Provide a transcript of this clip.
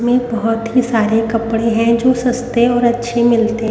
में बहुत ही सारे कपड़े हैं जो सस्ते और अच्छे मिलते हैं।